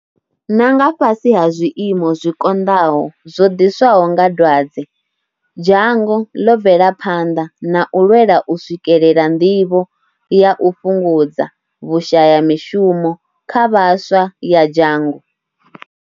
Na nga fhasi ha zwiimo zwi konḓaho zwo ḓiswaho nga dwadze, dzhango ḽo bvela phanḓa na u lwela u swikelela nḓivho ya u fhungudza vhushayamishumo kha vhaswa ya dzhango.